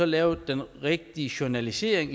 lave den rigtige journalisering